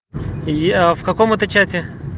я в каком это чате